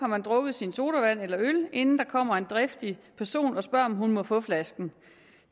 drukket sin sodavand eller øl inden der kommer en driftig person og spørger om hun må få flasken